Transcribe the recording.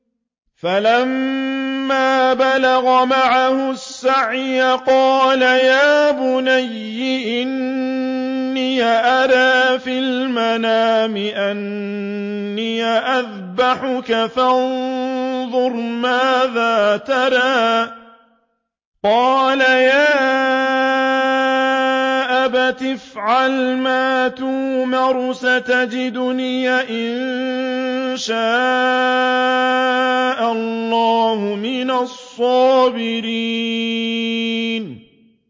فَلَمَّا بَلَغَ مَعَهُ السَّعْيَ قَالَ يَا بُنَيَّ إِنِّي أَرَىٰ فِي الْمَنَامِ أَنِّي أَذْبَحُكَ فَانظُرْ مَاذَا تَرَىٰ ۚ قَالَ يَا أَبَتِ افْعَلْ مَا تُؤْمَرُ ۖ سَتَجِدُنِي إِن شَاءَ اللَّهُ مِنَ الصَّابِرِينَ